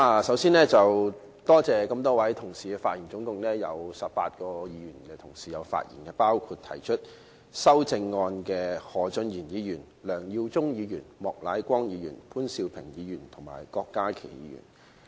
首先，多謝這麼多位同事發言，總共有18位議員同事發言，包括提出修正案的何俊賢議員、梁耀忠議員、莫乃光議員、潘兆平議員和郭家麒議員。